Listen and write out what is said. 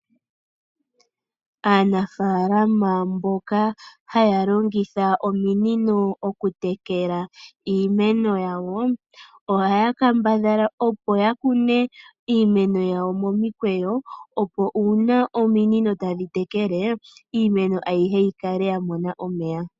Aanafalama mboka haya longitha ominino oku tekela iimeno yawo. Ohaya kambadhala okuyi kuna momikweyo opo una ominino tadhi tekele iimeno ayihe yi kale ya mona omeya.